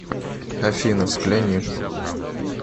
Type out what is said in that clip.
афина взгляни